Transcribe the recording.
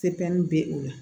bɛ o la